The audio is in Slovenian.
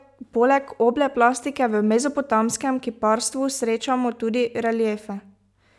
Poleg oble plastike v mezopotamskem kiparstvu srečamo tudi reliefe.